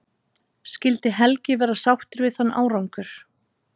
Skyldi Helgi vera sáttur við þann árangur?